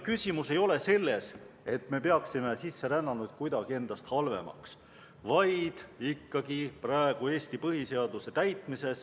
Küsimus ei ole selles, et me peaksime sisserännanuid kuidagi endast halvemaks, vaid ikkagi Eesti põhiseaduse täitmises.